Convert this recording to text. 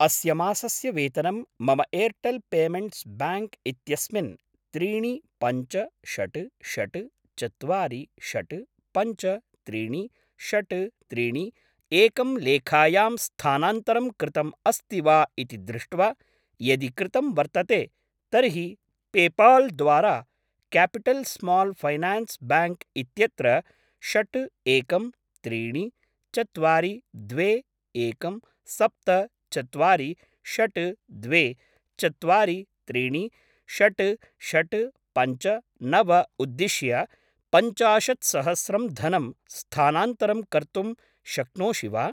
अस्य मासस्य वेतनं मम एर्टेल् पेमेण्ट्स् ब्याङ्क् इत्यस्मिन् त्रीणि पञ्च षड् षड् चत्वारि षड् पञ्च त्रीणि षड् त्रीणि एकं लेखायां स्थानान्तरं कृतम् अस्ति वा इति दृष्ट्वा, यदि कृतं वर्तते तर्हि पेपाल् द्वारा क्यापिटल् स्माल् फैनान्स् ब्याङ्क् इत्यत्र षड् एकं त्रीणि चत्वारि द्वे एकं सप्त चत्वारि षड् द्वे चत्वारि त्रीणि षड् षड् पञ्च नव उद्दिश्य पञ्चाशत्सहस्रं धनं स्थानान्तरं कर्तुं शक्नोषि वा?